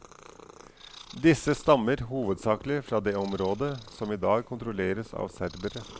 Disse stammer hovedsakelig fra det området som i dag kontrolleres av serbere.